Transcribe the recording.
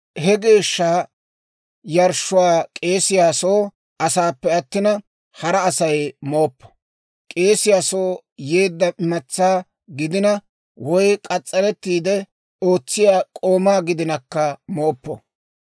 « ‹He geeshsha yarshshuwaa k'eesiyaa soo asaappe attina, hara Asay mooppo; k'eesiyaa soo yeedda imatsaa gidina, woy k'as's'arettiide ootsiyaa k'oomaa gidinakka mooppo.